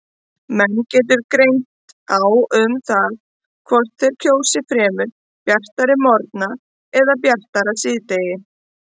Menn getur greint á um það hvort þeir kjósi fremur bjartari morgna eða bjartara síðdegi.